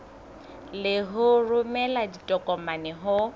le ho romela ditokomane ho